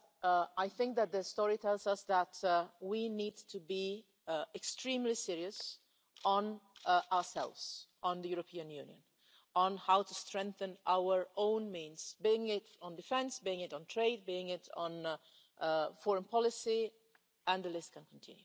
But I think that history tells us that we need to be extremely serious as regards ourselves, the European Union, and how to strengthen our own means, be it on defence, be it on trade, be it on foreign policy, and the list can continue.